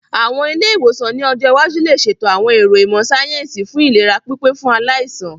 Àwọn ilé-ìwòsàn ní ọjọ́ iwájú lè ṣètò àwọn ẹ̀ro ìmọ̀ síáyẹ́nsì fún ìlera pípé fún aláìsàn